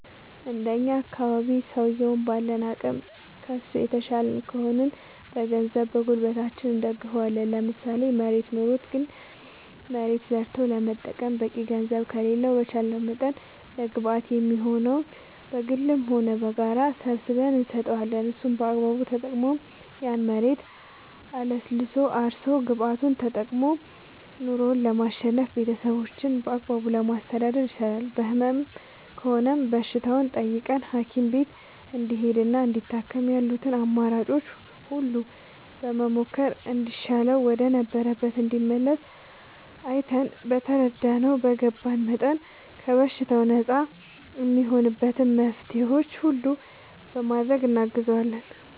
እንደኛ አካባቢ ሠውየዉን ባለን አቅም ከሡ የተሻልን ከሆንን በገንዘባችን በጉልበታችን እንደግፈዋለን ለምሳሌ መሬት ኖሮት ግን ያን መሬት ዘርቶ ለመጠቀም በቂ ገንዘብ ከሌለው በቻለንው መጠን ለግብአት እንዲሆነው በግልም ሆነ በጋራ ሰባስበን እንሰጠዋለን እሱም በአግባቡ ተጠቅሞ ያን መሬት አለስልሶ አርሶ ግብዓቱን ተጠቅሞ ኑሮው ለማሸነፍና ቤተሠቦቹን በአግባቡ ለማስተዳደር ይሰራል በህመም ከሆነም በሽታውን ጠይቀን ሀኪም ቤት እንዲሄድና እንዲታከም ያሉትን አማራጮች ሁሉ በመሞከር እንዲሻለውና ወደ ነበረበት እንዲመለስ አይተን በተረዳነው በገባን መጠን ከበሽታው ነፃ እሚሆንበትን መፍትሔዎች ሁሉ በማድረግ እናግዘዋለን